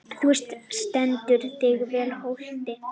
Þú stendur þig vel, Holti!